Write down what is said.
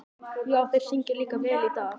Já, og þeir syngja líka vel í dag.